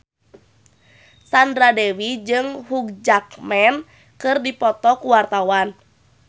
Sandra Dewi jeung Hugh Jackman keur dipoto ku wartawan